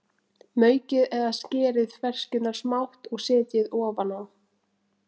Maukið eða skerið ferskjurnar smátt og setjið ofan á.